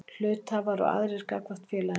Hluthafar og aðrir gagnvart félaginu.